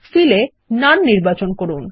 Fill এ none নির্বাচন করুন